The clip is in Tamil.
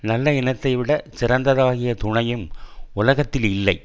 நல்ல இனத்தைவிடச் சிறந்ததாகிய துணையும் உலகத்தில் இல்லை